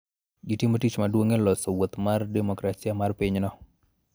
Gitimo tich maduong� e loso wuoth mar demokrasia mar pinyno.